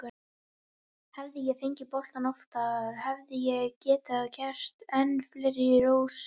Hefði ég fengið boltann oftar hefði ég getað gert enn fleiri rósir.